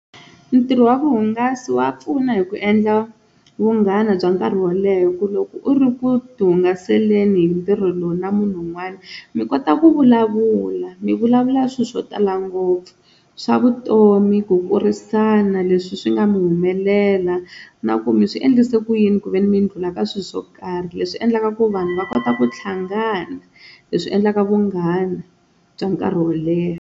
Ntirho wa vuhungasi wa pfuna hi ku endla vunghana bya nkarhi wo leha hi ku loko u ri ku ti hungaseleni hi ntirho lowu na munhu un'wana mi kota ku vulavula mi vulavula swilo swo tala ngopfu swa vutomi, ku kurisana leswi swi nga mi humelela na ku mi swi endlise ku yini ku ve ni mi ndlhula ka swilo swo karhi leswi endlaka ku vanhu va kota ku hlangana leswi endlaka vunghana bya nkarhi wo leha.